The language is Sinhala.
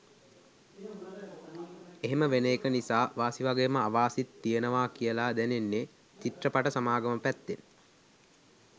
එහෙම වෙන එක නිසා වාසි වගේම අවාසිත් තියෙනවා කියලා දැනෙන්නේ චිත්‍රපට සමාගම පැත්තෙන්.